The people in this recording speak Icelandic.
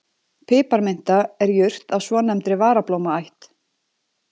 Piparminta er jurt af svonefndri varablómaætt.